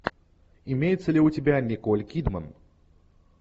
имеется ли у тебя николь кидман